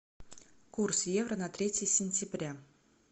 курс евро на третье сентября